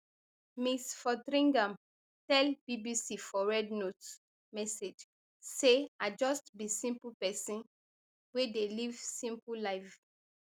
ms fotheringham tell bbc for rednote message say i just be simple pesin wey dey live simple life